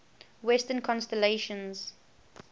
western constellations